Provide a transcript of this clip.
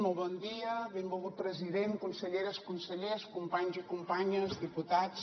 molt bon dia benvolgut president conselleres consellers companys i companyes diputats